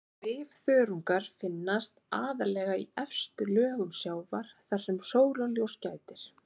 Svifþörungar finnast aðallega í efstu lögum sjávar þar sem sólarljóss gætir.